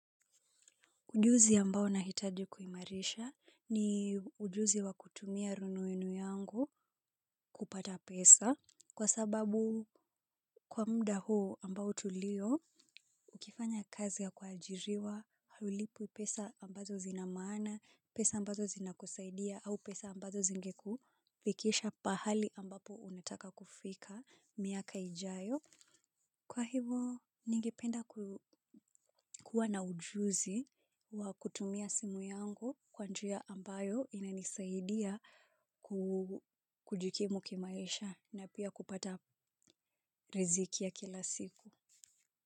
Ujuzi ambao nahitaji kuimarisha ni ujuzi wa kutumia rununu yangu kupata pesa kwa sababu kwa muda huu ambao tulio ukifanya kazi ya kuajiriwa, haulipwi pesa ambazo zina maana, pesa ambazo zinakusaidia au pesa ambazo zingekufikisha pahali ambapo unataka kufika miaka ijayo. Kwa hivyo, ningependa kuwa na ujuzi wa kutumia simu yangu kwa njia ambayo inanisaidia kujikimu kimaisha na pia kupata riziki ya kila siku.